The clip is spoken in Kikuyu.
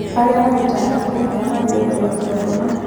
Arĩa manyitanaga kĩa hinya magĩrĩirũo gũikio ngono